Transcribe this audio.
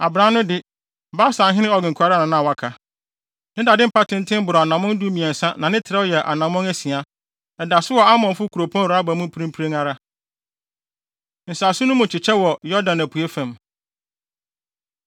Abran no de, Basanhene Og nko na na waka. Ne dade mpa tenten boro anammɔn dumiɛnsa na ne trɛw yɛ anammɔn asia. Ɛda so wɔ Amonfo kuropɔn Raba mu mprempren ara. Nsase No Mu Kyekyɛ Wɔ Yordan Apuei Fam